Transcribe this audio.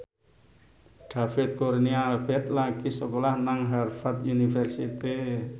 David Kurnia Albert lagi sekolah nang Harvard university